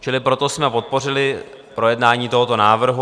Čili proto jsme podpořili projednání tohoto návrhu.